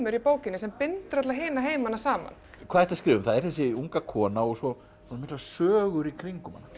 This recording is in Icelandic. í bókinni sem bindur alla hina heimana saman hvað ertu að skrifa um það er þessi unga kona og svo miklar sögur í kringum hana